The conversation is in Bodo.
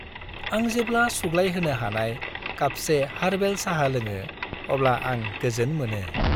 आं जेब्ला सुग्लायहोनो हानाय कापसे हारबेल साहा लोङो अब्ला आं गोजोन मोनो।